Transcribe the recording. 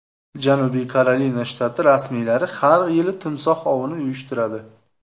Janubiy Karolina shtati rasmiylari har yili timsoh ovini uyushtiradi.